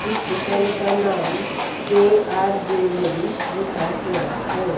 इस दुकान का नाम के_आर ज्वैलरी लिखा हुआ है।